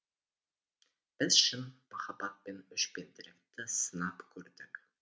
біз шын махаббат пен өшпенділікті сынап көрдік